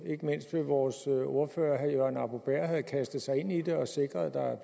ikke mindst ved vores ordfører herre jørgen arbo bæhr havde kastet sig ind i det og sikret at der